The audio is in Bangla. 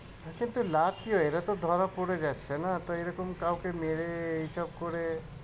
আচ্ছা এতে লাভ কি হয় এরা তো ধরা পড়ে যাচ্ছে না? তো এরকম কাউকে মেরে এই সব করে